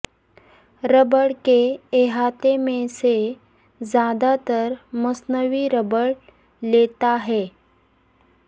rubber کے احاطے میں سے زیادہ تر مصنوعی ربڑ لیتا ہے